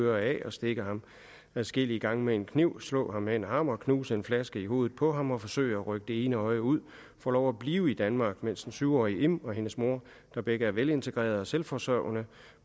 øre af stikke ham adskillige gange med en kniv slå ham med en hammer knuse en flaske i hovedet på ham og forsøge at rykke det ene øje ud får lov at blive i danmark mens den syv årige im og hendes mor der begge er velintegrerede og selvforsørgende